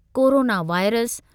corona virus